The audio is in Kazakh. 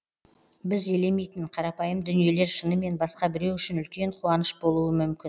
біз елемейтін қарапайым дүниелер шынымен басқа біреу үшін үлкен қуаныш болуы мүмкін